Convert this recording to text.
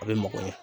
A bɛ mɔgɔ ɲɛn